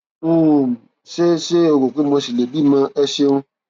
um ṣé ṣé o rò pé mo ṣì lè bímọ ẹ ṣeun